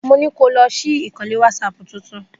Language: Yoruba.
Mo ní kó lọ ṣí ìkànnlé wásápù titun.